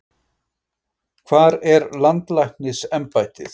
Hvar er landlæknisembættið?